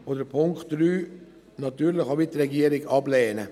Den Punkt 3 lehnen wir natürlich auch wie die Regierung ab.